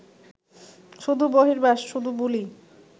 শুধু বহির্বাস, শুধু বুলি